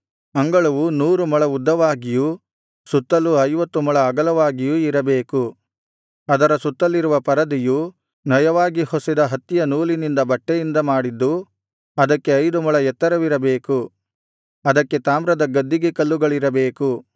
ಅಂಗಳವು ನೂರು ಮೊಳ ಉದ್ದವಾಗಿಯೂ ಸುತ್ತಲೂ ಐವತ್ತು ಮೊಳ ಅಗಲವಾಗಿಯೂ ಇರಬೇಕು ಅದರ ಸುತ್ತಲಿರುವ ಪರದೆಯು ನಯವಾಗಿ ಹೊಸೆದ ಹತ್ತಿಯ ನೂಲಿನಿಂದ ಬಟ್ಟೆಯಿಂದ ಮಾಡಿದ್ದು ಅದಕ್ಕೆ ಐದು ಮೊಳ ಎತ್ತರವಿರಬೇಕು ಅದಕ್ಕೆ ತಾಮ್ರದ ಗದ್ದಿಗೆ ಕಲ್ಲುಗಳಿರಬೇಕು